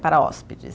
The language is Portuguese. para hóspedes.